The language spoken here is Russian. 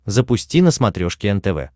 запусти на смотрешке нтв